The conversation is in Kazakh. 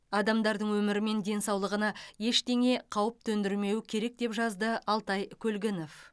адамдардың өмірі мен денсаулығына ештеңе қауіп төндірмеуі керек деп жазды алтай көлгінов